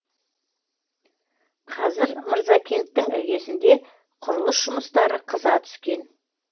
қазір мырзакенттің іргесінде құрылыс жұмыстары қыза түскен